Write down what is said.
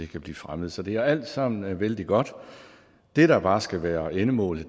kan blive fremmet så det er alt sammen vældig godt det der bare skal være endemålet